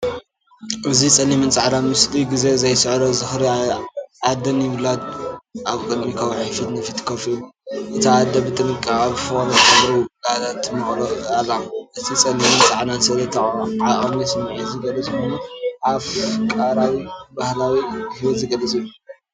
እዚ ጸሊምን ጻዕዳን ምስሊ- ግዜ ዘይስዕሮ ዝኽሪ! ኣደን ውላድን፡ ኣብ ቅድሚ ከውሒ ፊት ንፊት ኮፍ ኢሎም። እታ ኣደ ብጥንቃቐን ብፍቕርን ንጸጉሪ ውላዳ ትመቕሎ ኣላ። እዚ ጸሊምን ጻዕዳን ስእሊ ዓሚቝ ስምዒት ዝገልጽ ኮይኑ፡ኣፍሪቃዊ ባህላዊ ህይወት ዝገልጽ እዩ።